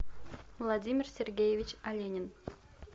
владимир сергеевич оленин